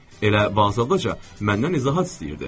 Elə vazlıqca məndən izahat istəyirdi.